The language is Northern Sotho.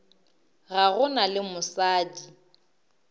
ga go na le mosadi